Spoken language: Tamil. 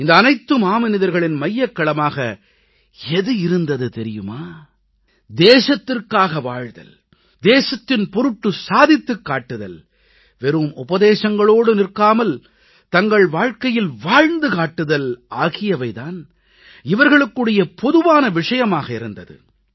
இந்த அனைத்து மாமனிதர்களின் மையக்கருவுமாக எது இருந்தது தெரியுமா தேசத்திற்காக வாழ்தல் தேசத்தின் பொருட்டு சாதித்துக் காட்டுதல் வெறும் உபதேசங்களோடு நிற்காமல் தங்கள் வாழ்க்கையில் வாழ்ந்து காட்டுதல் ஆகியவை தான் இவர்களுக்கிடையே பொதுவான விஷயமாக இருந்தது